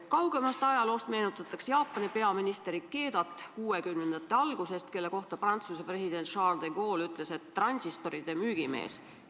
Kaugemast ajaloost meenutatakse Jaapani peaministrit Ikedat 1960-ndate algusest, keda Prantsuse president Charles de Gaulle nimetas transistoride müügimeheks.